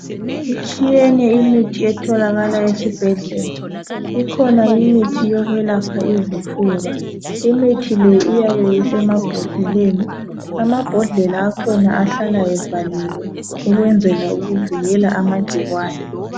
Itshiyene imithi etholakala esibhedlela, ikhona imithi yokwelapha izifuba. Imithi le iyabe isemabhodleleni. Amabhodlela akhona ahlala evaliwe ukwenzela ukuvikela amagciwane